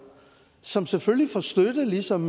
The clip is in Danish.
som selvfølgelig får støtte ligesom